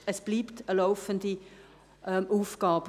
Es bleibt eine laufende Aufgabe.